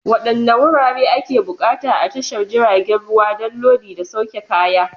Wadanne wurare ake buƙata a tashar jiragen ruwa don lodi da sauke kaya?